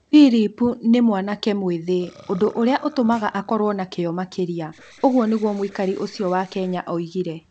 "Philip nĩ mwanake mwĩthĩ - ũndũ ũrĩa ũtũmaga akorũo na kĩyo makĩria", ũguo nĩguo mũikari ũcio wa Kenya oigire.